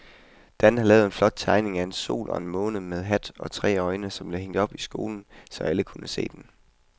Dan havde lavet en flot tegning af en sol og en måne med hat og tre øjne, som blev hængt op i skolen, så alle kunne se den.